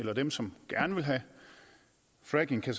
at dem som gerne vil have fracking